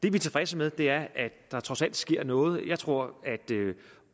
er tilfredse med er at der trods alt sker noget jeg tror at